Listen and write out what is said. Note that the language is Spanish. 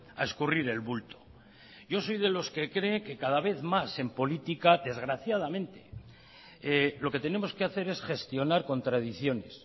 a escurrir el bulto yo soy de los que cree que cada vez más en política desgraciadamente lo que tenemos que hacer es gestionar contradicciones